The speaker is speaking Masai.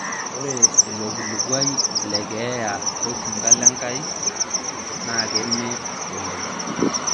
ore ilo kilikuai le keeya osinka lenkai naa keme oleng